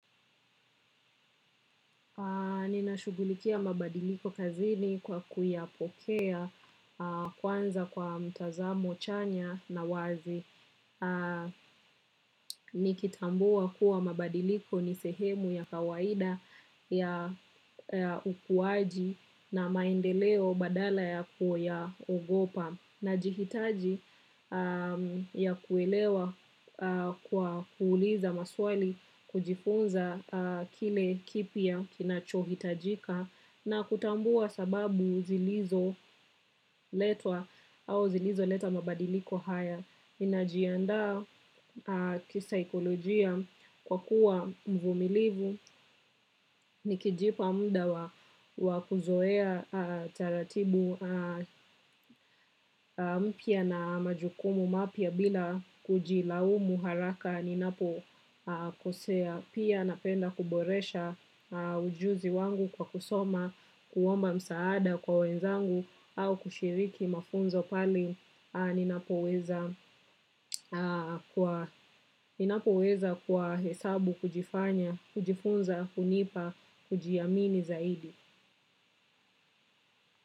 Ninashugulikia mabadiliko kazini kwa kuyapokea kwanza kwa mtazamo chanya na wazi. Nikitambua kuwa mabadiliko nisehemu ya kawaida ya ukuaji na maendeleo badala ya kuyaogopa. Najihitaji ya kuelewa kwa kuuliza maswali kujifunza kile kipya kinachohitajika na kutambua sababu zilizo letwa au zilizo leta mabadiliko haya.ninajiadaa kisaikolojia kwa kuwa mvumlivu nikijipa muda wa kuzoea taratibu mpya na majukumu mapya bila kujilaumu haraka, ninapokosea. Pia napenda kuboresha ujuzi wangu kwa kusoma, kuomba msaada kwa wenzangu au kushiriki mafunzo pale. Ninapoweza kwa hesabu kujifanya, kujifunza, kunipa, kujiamini zaidi.